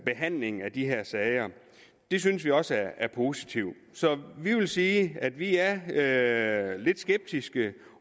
behandling af de her sager det synes vi også er positivt så vi vil sige at vi er er lidt skeptiske